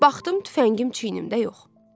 Baxdım tüfəngim çiyinimdə yox.